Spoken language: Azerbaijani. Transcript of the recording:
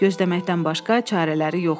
Gözləməkdən başqa çarələri yox idi.